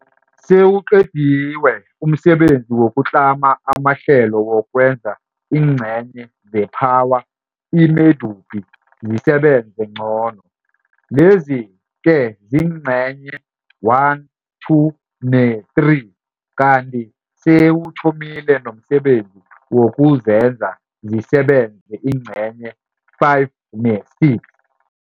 Sewuqediwe umsebenzi wokutlama amahlelo wokwenza iingcenye zePhawa i-Medupi zisebenze ngcono. Lezi-ke ziingcenye 1, 2 ne-3, kanti sewuthomile nomsebenzi wokuzenza zisebenze iingcenye 5 ne-6.